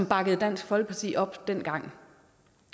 bakkede dansk folkeparti op dengang